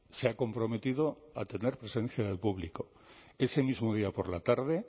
se ha comprometido a tener presencia de público ese mismo día por la tarde